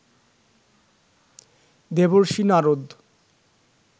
Devarshi Narad